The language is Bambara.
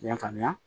I y'a faamuya